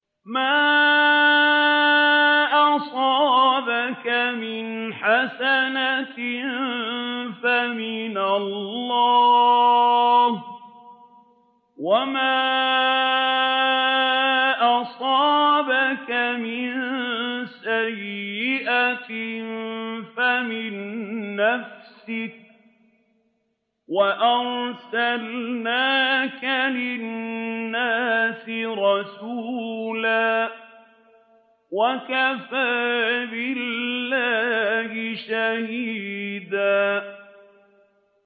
مَّا أَصَابَكَ مِنْ حَسَنَةٍ فَمِنَ اللَّهِ ۖ وَمَا أَصَابَكَ مِن سَيِّئَةٍ فَمِن نَّفْسِكَ ۚ وَأَرْسَلْنَاكَ لِلنَّاسِ رَسُولًا ۚ وَكَفَىٰ بِاللَّهِ شَهِيدًا